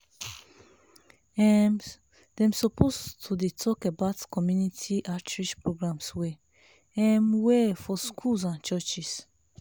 um dem suppose to de talk about community outreach programs well um well for schools and churches.